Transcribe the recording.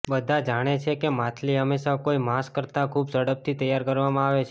બધા જાણે છે કે માછલી હંમેશા કોઈ માંસ કરતાં ખૂબ ઝડપથી તૈયાર કરવામાં આવે છે